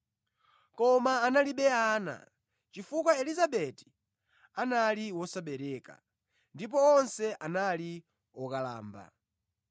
Koma analibe ana chifukwa Elizabeti anali wosabereka; ndipo onse anali okalamba.